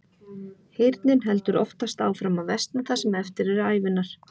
Heyrnin heldur oftast áfram að versna það sem eftir er ævinnar.